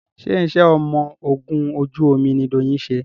ṣe iṣé ọmọ ògún ojú omí ní Doyin ṣe?